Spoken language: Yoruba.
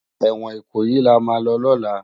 Ewòn Ikoyi làmá lò lòlá